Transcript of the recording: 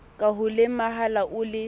ka ho lemala o le